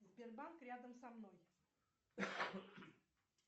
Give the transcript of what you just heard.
сбербанк рядом со мной